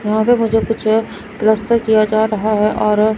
यहां पे मुझे कुछ पलस्तर किया जा रहा है और--